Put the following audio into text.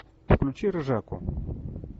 включи ржаку